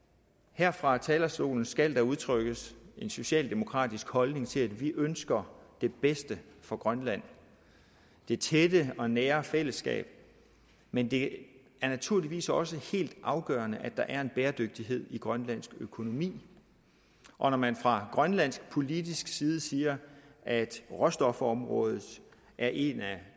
her fra talerstolen skal der udtrykkes en socialdemokratisk holdning til at vi ønsker det bedste for grønland det tætte og nære fællesskab men det er naturligvis også helt afgørende at der er en bæredygtighed i grønlandsk økonomi og når man fra grønlandsk politisk side siger at råstofområdet er en af